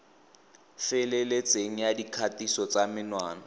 feleletseng ya dikgatiso tsa menwana